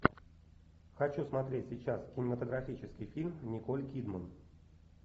хочу смотреть сейчас кинематографический фильм с николь кидман